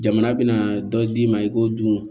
Jamana bɛna dɔ d'i ma i k'o dun